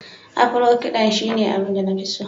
Afro- kiɗa shine abin da na fi so